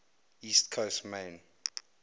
east coast maine